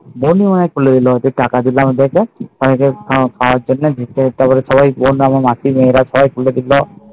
বন্ধুরা খুলে দিলে টাকা দিলে ওদের কে খাওয়ার জন্য রাত্তির বেলা সবাই খুলে দিলো